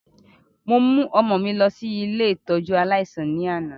Mo mu ọmọ mi lọ si ile ìtójú aláísàn ni ana.